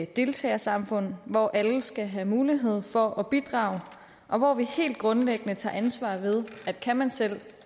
deltagersamfund hvor alle skal have mulighed for at bidrage og hvor vi helt grundlæggende tager ansvar ved at kan man selv